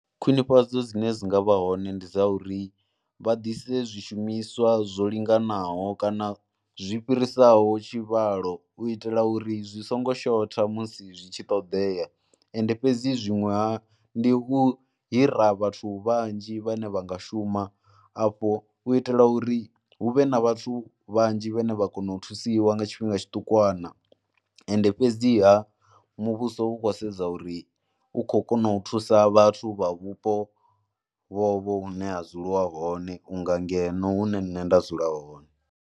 Khwinifhadzo dzine dzi nga vha hone ndi dza uri vha ḓise zwishumiswa zwo linganaho kana zwi fhirisaho tshivhalo u itela uri zwi songo shotha musi zwi tshi ṱoḓea ende fhedzi zwiṅwe hafho, ndi u hira vhathu vhanzhi vhane vha nga shuma afho u itela uri hu vhe na vhathu vhanzhi vhane vha kona u thusiwa nga tshifhinga tshiṱukwana. Ende fhedziha muvhuso u khou sedza uri u khou kona u thusa vhathu vha vhupo vhovho vhune ha dzuliwa hone vhunga ngeno hune nṋe nda dzula.